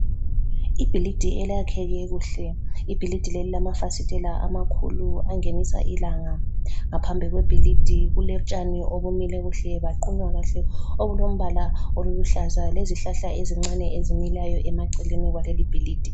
Ibhilidi elakheke kuhle, ibhilidi leli lilamafasitla amakhulu angenisa ilanga. Ngaphambi kwe bhilidi kulotshani ubumile kuhle buqunywe kuhle obulombala oluhlaza lezihlahla ezincane ezimilayo emaceleni kwalo leli ibhilidi.